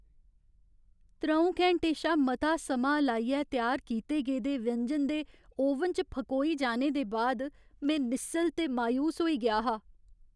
त्र'ऊं घैंटे शा मता समां लाइयै त्यार कीते दे व्यंजन दे ओवन च फकोई जाने दे बाद में निस्सल ते मायूस होई गेआ हा।